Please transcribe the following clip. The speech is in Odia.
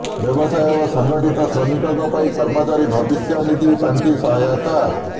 ବ୍ୟବସାୟ ଓ ସଂଗଠିତ ଶ୍ରମିକଙ୍କ ପାଇଁ କର୍ମଚାରୀ ଭବିଷ୍ୟନିଧି ପାଣ୍ଠି ସହାୟତା